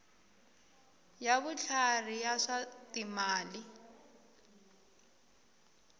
ya vutlhari ya swa timali